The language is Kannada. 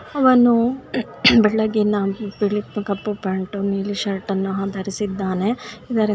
ಅವನು ಬೆಳಗ್ಗೆಯಿಂದ ಈ ಕಪ್ಪು ಪ್ಯಾಂಟ್ ನೀಲಿ ಷರ್ಟ್ಅನ್ನು ಧರಿಸಿದ್ದಾನೆ .